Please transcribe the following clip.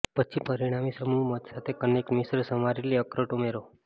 પછી પરિણામી સમૂહ મધ સાથે કનેક્ટ મિશ્ર સમારેલી અખરોટ ઉમેરો